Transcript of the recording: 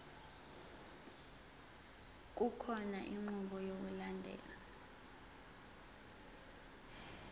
kukhona inqubo yokulandelayo